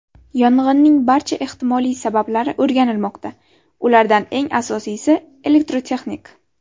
Yong‘inning barcha ehtimoliy sabablari o‘rganilmoqda, ulardan eng asosiysi elektrotexnik.